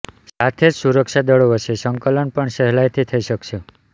સાથે જ સુરક્ષાદળો વચ્ચે સંકલન પણ સહેલાઇથી થઇ શકશે